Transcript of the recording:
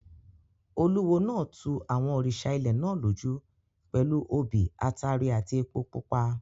Olúwo náà tu àwọn òrìṣà ilẹ̀ náà lójú pẹ̀lú obì, ataare àti epo pupa.